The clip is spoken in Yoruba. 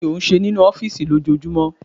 Kí ni ó ń ṣe nínú ọ́fìsì lójoojúmọ́?